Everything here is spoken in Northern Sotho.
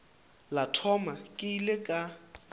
la mathomo ke ile ka